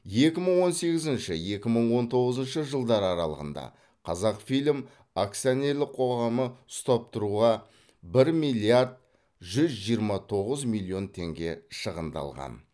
екі мың он сегізінші екі мың он тоғызыншы жылдар аралығында қазақфильм акционерлік қоғамы ұстап тұруға бір миллиард жүз жиырма тоғыз миллион теңге шығындалған